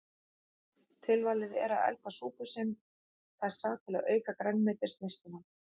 Tilvalið er að elda súpu sem þessa til að auka grænmetisneysluna.